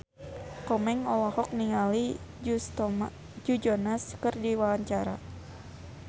Komeng olohok ningali Joe Jonas keur diwawancara